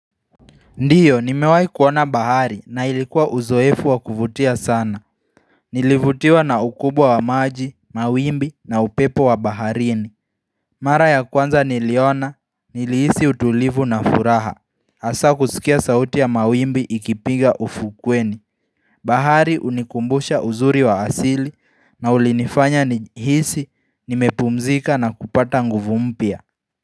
Ndiyo, nimewahi kuona bahari na ilikuwa uzoefu wa kuvutia sana. Nilivutiwa na ukubwa wa maji, mawimbi na upepo wa baharini. Mara ya kwanza niliona, nilihisi utulivu na furaha. Asa kusikia sauti ya mawimbi ikipiga ufukweni. Bahari unikumbusha uzuri wa asili na ulinifanya nihisi, nimepumzika na kupata nguvu mpya.